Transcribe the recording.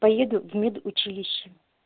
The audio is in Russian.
поеду в медучилище